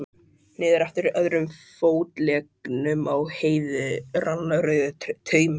Niður eftir öðrum fótleggnum á Heiðu rann rauður taumur.